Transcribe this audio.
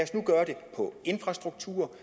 infrastruktur